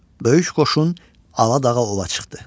Böyük qoşun Ala dağa ova çıxdı.